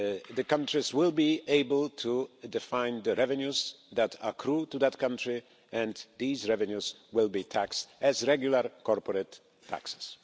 the countries will be able to define the revenues that accrue to that country and these revenues will be taxed as regular corporate taxes.